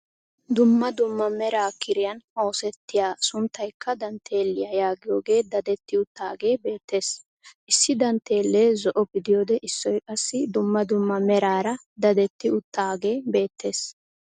Dumma dumma mera kiriyaan osettiyaa a sunttaykka dantteeliyaa yaagiyoogee dadetti uttaagee bettees. Issi danttelee zo"o gidiyoode issoy qassi dumma dumma meraara dadetti uttaagee beettees.